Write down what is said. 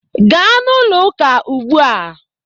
Gaa n'ụlọ ụka ugbua!